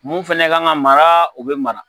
Mun fɛnaɛ ka kan ka mara o be mara